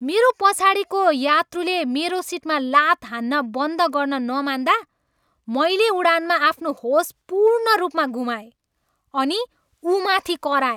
मेरो पछाडिको यात्रुले मेरो सिटमा लात हान्न बन्द गर्न नमान्दा मैले उडानमा आफ्नो होस पूर्ण रूपमा गुमाएँ अनि ऊमाथि कराएँ।